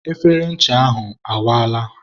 efere ncha ahụ awaala.